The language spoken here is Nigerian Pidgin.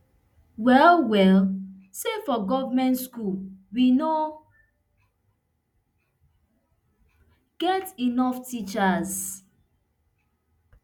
well well say for goment schools we no get enough teachers